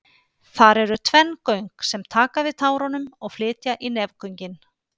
Þar eru tvenn göng sem taka við tárunum og flytja í nefgöngin.